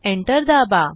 Enter दाबा